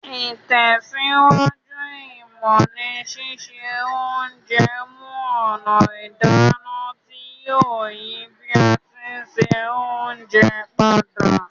Ìtẹ̀síwájú ìmọ́ ni sise onje mu ònà ìdáná ti yio yi bi a ti n se ounje padà